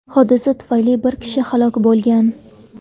Hodisa tufayli bir kishi halok bo‘lgan.